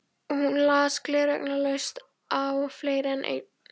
Hún las gleraugnalaust á fleiri en einn